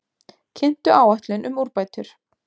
Kynntu áætlun um úrbætur